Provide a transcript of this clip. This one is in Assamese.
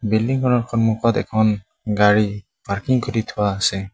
বিল্ডিং খনৰ সন্মুখত এখন গাড়ী পাৰ্কিং কৰি থোৱা আছে।